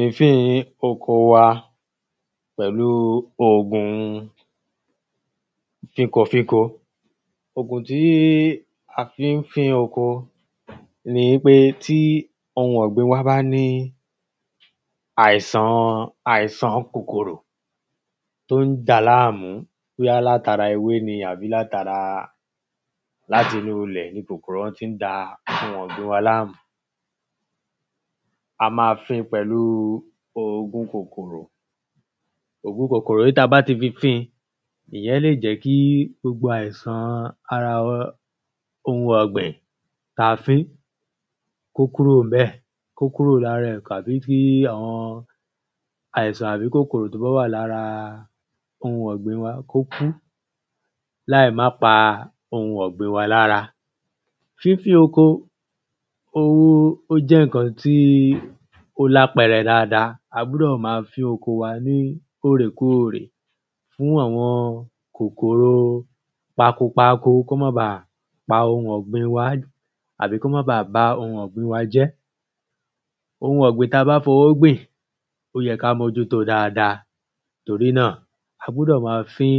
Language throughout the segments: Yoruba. èéfin oko wa pẹ̀lú ògun fínkofínko ògun tí a fí ń fín oko ni wípé tí ohun ọ̀gbìn wá bá ní àìsàn kòkòrò tó ń dàá lámù, bóyá látara ewé ni àbí, láti inú ilẹ̀ ni kòkòrò ọ̀hún ti ń da ohun ọ̀gbin wa lámù, a máa fín in pẹ̀lú ògun kòkòrò ògùn kòkòrò yìí, tí a bá ti fi fín ìyẹn lè jẹ́ kí gbogbo àìsàn ara ohun ọ̀gbìn tí a fín kó kúrò níbẹ̀ kó kúrò lára ẹ̀ tàbí kí àwọn àìsàn tàbí kòkòrò tó bá wà lára ohun ọ̀gbin wa kó kú láì má pa ohun ọ̀gbin wa lára. fínfín oko ó jẹ́ ǹkan tí ó lápẹrẹ dáadáa. A gbọ́dọ̀ máa fín oko wa lóòrèkóòrè fún àwọn kòkòro pakopako kó má baà pa ohun ọ̀gbin wa, àbí kó má baà ba ohun ọ̀gbin wa jẹ́ Ohun ọ̀gbìn ta bá fi owó gbìn ó yẹ ka mójú tóo dáadáa, torí náà a gbọdọ̀ máa fín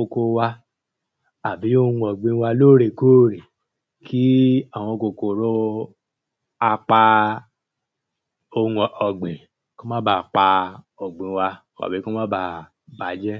oko wa àbí ohun ọ̀gbin wa lóòrekóòre, kí àwọn kòkòrò a pa ohun ọ̀gbìn kó má baà pa ọ̀gbin wa tàbí kí ó má baà bàjẹ́